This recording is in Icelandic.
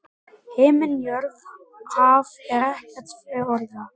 Himinn jörð haf er ekkert fjórða?